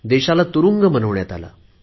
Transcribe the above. देशाला तुरुंग बनवण्यात आला